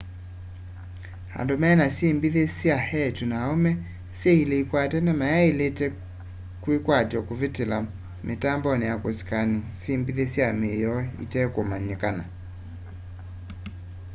andũ mena syĩmbithi sya eetũ na aũme syĩ ilĩ ikwatene mayaĩlĩte kwĩkatya kũvĩtĩla mitambonĩ ya kusikani syĩmbĩthe sya mĩĩ yoo itekũmanyĩkana